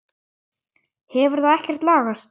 Hefur það ekkert lagast?